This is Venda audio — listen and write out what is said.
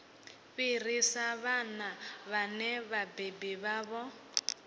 fhirisa vhana vhane vhabebi vhavho